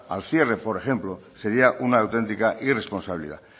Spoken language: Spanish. al cierre por ejemplo sería una autentica irresponsabilidad